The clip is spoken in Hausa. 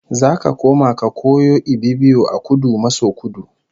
Zaka koma ka koyo Ibibio a Kudu maso Kudu